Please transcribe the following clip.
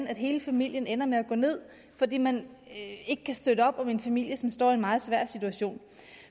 at hele familien ender med at gå ned fordi man ikke kan støtte op om en familie som står i en meget svær situation